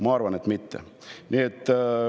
Ma arvan, et mitte.